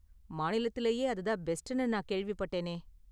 மாநிலத்திலேயே அது தான் பெஸ்ட்னு நான் கேள்விப்பட்டேனே?